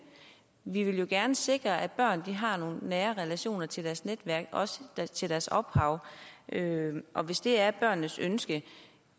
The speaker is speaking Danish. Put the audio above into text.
vi vil jo gerne sikre at børn har nogle nære relationer til deres netværk og til deres ophav og hvis det er børnenes ønske